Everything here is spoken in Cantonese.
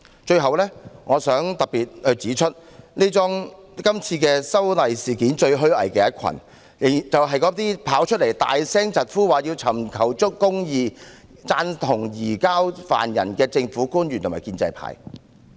最後，我想特別指出，在這次修例事件中，最虛偽的一群是那些走出來高聲疾呼要尋求公義、贊同移交疑犯的政府官員及建制派。